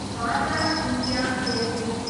बाटा India Ltd